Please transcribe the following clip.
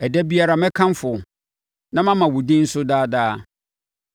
Ɛda biara, mɛkamfo wo; na mama wo din so daa daa.